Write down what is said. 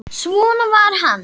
Svona var hann.